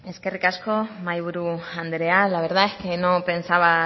eskerrik asko mahaiburu andrea la verdad es que no pensaba